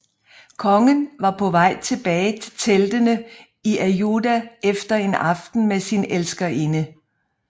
Kongen var på vej tilbage til teltene i Ajuda efter en aften med sin elskerinde